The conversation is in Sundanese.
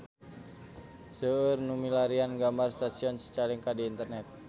Seueur nu milarian gambar Stasiun Cicalengka di internet